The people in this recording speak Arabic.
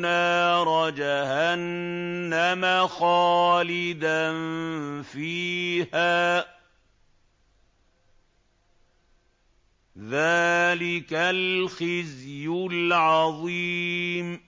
نَارَ جَهَنَّمَ خَالِدًا فِيهَا ۚ ذَٰلِكَ الْخِزْيُ الْعَظِيمُ